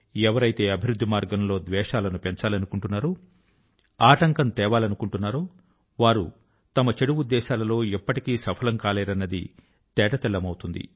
ఎవరైతే అభివృద్ధి మార్గం లో ద్వేషాల ను పెంచాలనుకుంటారో ఆటంకం తేవాలనుకుంటారో వారు తమ చెడు ఉద్దేశాల లో ఎప్పటికీ సఫలం కాలేరన్నది తేటతెల్లమవుతుంది